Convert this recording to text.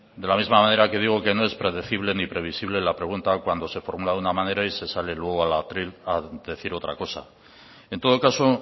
de la misma manera que digo que no es predecible ni previsible la pregunta cuando se formula de una manera y se sale luego al atril a decir otra cosa en todo caso